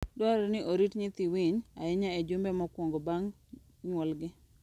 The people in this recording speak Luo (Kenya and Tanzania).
Dwarore ni orit nyithii winy ahinya e jumbe mokwongo bang' nyuolgi.